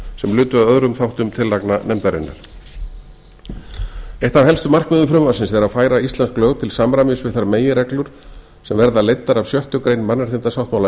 sem lutu að öðrum þáttum tillagna nefndarinnar eitt af helstu markmiðum frumvarpsins er að færa íslensk lög til samræmis við þær meginreglur sem verða leiddar af sjöttu grein mannréttindasáttmála